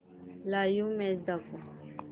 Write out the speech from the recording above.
live match दाखव